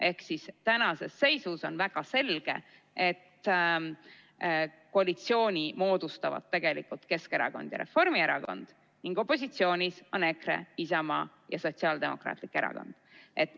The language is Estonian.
Ehk siis tänases seisus on väga selge, et koalitsiooni moodustavad Keskerakond ja Reformierakond ning opositsioonis on EKRE, Isamaa ja Sotsiaaldemokraatlik Erakond.